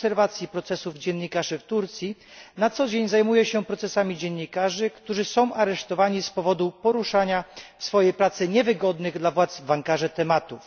obserwacji procesów dziennikarzy w Turcji na co dzień zajmuję się procesami dziennikarzy, którzy są aresztowani z powodu poruszania w swojej pracy niewygodnych dla władz w Ankarze tematów.